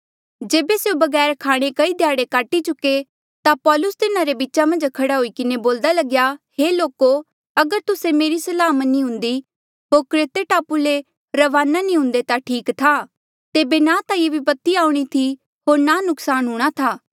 जेबे स्यों बगैर खाणे कई ध्याड़े काटी चुके ता पौलुस तिन्हारे बीचा मन्झ खड़ा हुई किन्हें बोल्दा लग्या हे लोको अगर तुस्से मेरी सलाह मनी हुन्दी होर क्रेते टापू ले रवाना नी हुंदे ता ठीक था तेबे ना ता ये विपत्ति आऊणीं थी होर ना नुक्सान हूंणां था